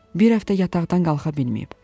Bir həftə yataqdan qalxa bilməyib.